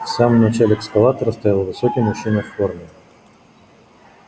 в самом начале эскалатора стоял высокий мужчина в форме